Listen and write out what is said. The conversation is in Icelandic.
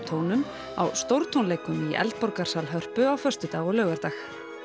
tómum á tónleikum í Hörpu á föstudag og laugardag